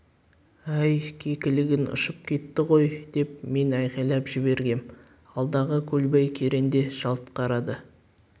әй кекілігің ұшып кетті ғой деп мен айқайлап жібергем алдағы көлбай керең де жалт қарады